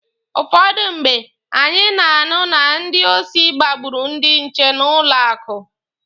Ụfọdụ mgbe, anyị na-anụ na ndị osi gbagburu ndị nche na n'ụlọ akụ